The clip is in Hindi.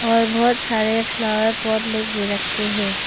और बहोत सारे फ्लावर पॉट लोग भी रख के हैं।